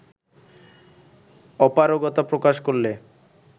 অপারগতা প্রকাশ করলে